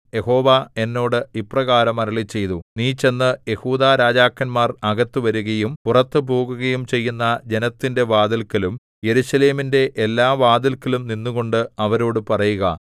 യഹോവ എന്നോട് ഇപ്രകാരം അരുളിച്ചെയ്തു നീ ചെന്ന് യെഹൂദാരാജാക്കന്മാർ അകത്ത് വരുകയും പുറത്തു പോകുകയും ചെയ്യുന്ന ജനത്തിന്റെ വാതില്‍ക്കലും യെരൂശലേമിന്റെ എല്ലാവാതില്ക്കലും നിന്നുകൊണ്ട് അവരോടു പറയുക